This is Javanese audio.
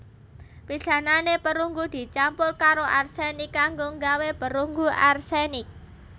Pisanane perunggu dicampur karo arsenik kanggo nggawé perunggu arsenik